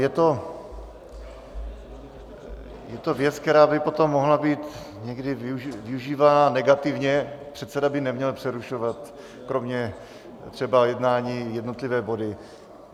Je to věc, která by potom mohla být někdy využívána negativně, předseda by neměl přerušovat, kromě třeba jednání, jednotlivé body.